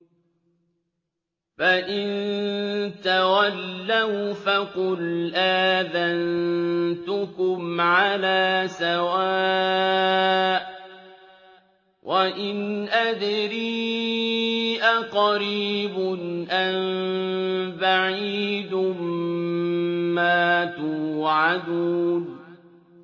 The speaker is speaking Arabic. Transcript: فَإِن تَوَلَّوْا فَقُلْ آذَنتُكُمْ عَلَىٰ سَوَاءٍ ۖ وَإِنْ أَدْرِي أَقَرِيبٌ أَم بَعِيدٌ مَّا تُوعَدُونَ